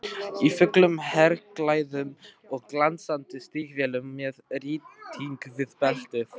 Í fullum herklæðum og glansandi stígvélum, með rýting við beltið.